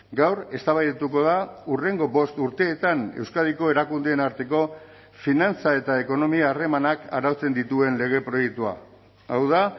gaur eztabaidatuko da hurrengo bost urteetan euskadiko erakundeen arteko finantza eta ekonomia harremanak arautzen dituen lege proiektua hau da